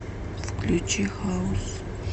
включи хаус